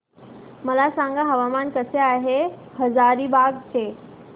मला सांगा हवामान कसे आहे हजारीबाग चे